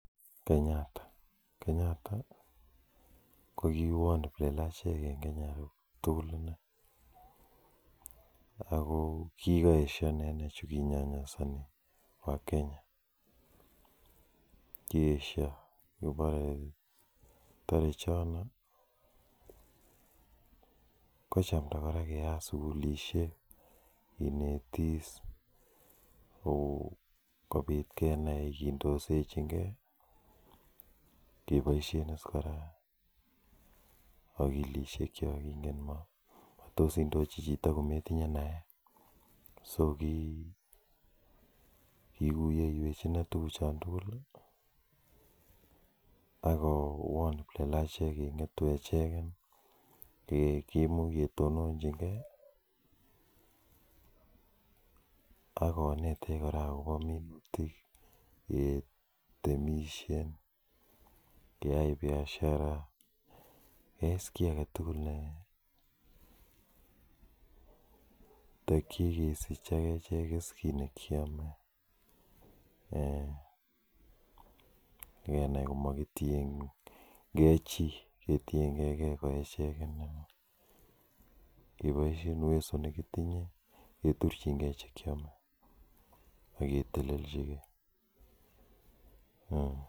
Kenyatta, Kenyatta ko kiwon kiplelachek en Kenya tugul inei ako kikoesyo inendet chu kinyonyosoni wakenya kiesyo ngobore tore chono kochamda kora keyat sugulisiek kinetis kou kebit kenai kindoisechin gee keboisien is kora akilisiek kyok ingen ile matos indochi chito kometinye naet so kikuyeiwech inei tuguk chon tugul ak kowon kiplelachek keng'etu echeken keimuch ketononjin gee ak konetech kora akobo minutik ketemisien keyai biashara keyai is kiy aketugul ne tokyech kesich ak echek kit nekiome um ak kenai komokitiengee chii ketiengee gee ko echek keboisien uwezo nekitinye keturchingee chekiome ak keteleljigee